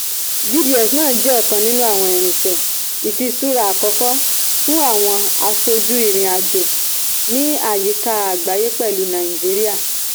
gds náà jẹ́ ọ̀kan nínú àwọn irinṣẹ́ ifìṣura àkọ́kọ́ fún àwọn aṣojú ìrìn-àjò ní àyíká agbaye pẹlu naijiria.